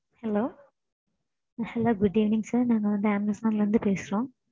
hello